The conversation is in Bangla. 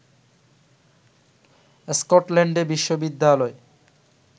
স্কটল্যান্ডে বিশ্ববিদ্যালয়